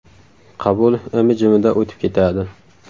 Qabul imi-jimida o‘tib ketadi.